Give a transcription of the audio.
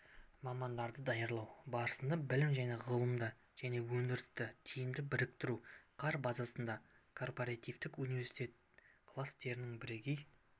мамандарды даярлау барысында білім мен ғылымды және өндірісті тиімді біріктіру қар базасындағы корпоративтік университет кластерінің бірегей